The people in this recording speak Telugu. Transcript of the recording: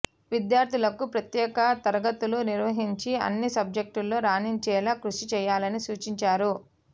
విద్యార్థులకు ప్రత్యేక తరగతులు నిర్వహించి అన్ని సబ్జెక్టుల్లో రాణించేలా కృషి చేయాలని సూచించారు